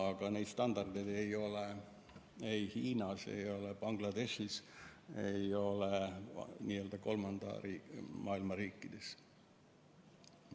Ja neid standardeid ei ole Hiinas, ei ole Bangladeshis, ei ole kolmanda maailma riikides.